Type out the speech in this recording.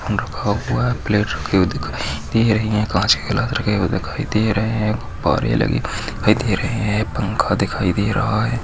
रखा हुआ है प्लेट रखे हुए दिखाई दे रहे है काँच के लग रहे और दिखाई दे रहे है गुब्बारे लगे हुए दिखाई दे रहे है पंखा दिखाई दे रहा है।